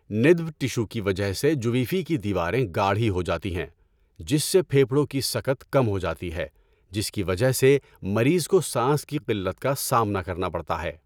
ندب tissue کی وجہ سے جویفی کی دیواریں گاڑھی ہو جاتی ہیں، جس سے پھیپھڑوں کی سکت کم ہو جاتی ہے جس کی وجہ سے مریض کو سانس کی قلت کا سامنا کرنا پڑتا ہے۔